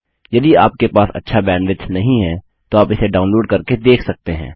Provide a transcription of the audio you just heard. यदि आपके पास अच्छा बैंडविड्थ नहीं है तो आप इसे डाउनलोड करके देख सकते हैं